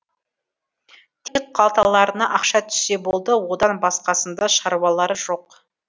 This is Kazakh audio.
тек қалталарына ақша түссе болды одан басқасында шаруалары жоқ